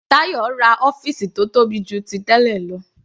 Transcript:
Tayo ra ọ́fìsì tó tóbi jù ti tẹ́lẹ̀ lọ.